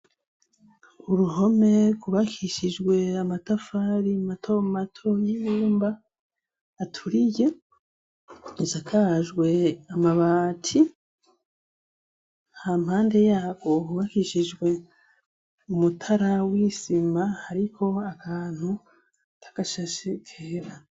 Uruhome kubakishijwe amatafari matomato y'inumba aturiye insakajwe amabati ha mpande yabo hubakishijwe umutara wisima, ariko abantu tagashashe igihira.